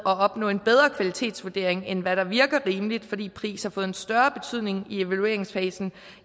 at opnå en bedre kvalitetsvurdering end hvad der virker rimeligt fordi pris har fået større betydning i evalueringsfasen